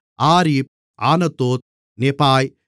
Arif Anathoth Nebai